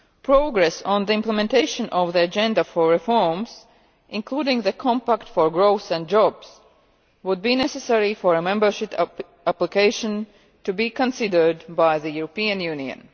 Progress on the implementation of the agenda for reforms, including the compact for growth and jobs, would be necessary for a membership application to be considered by the European Union.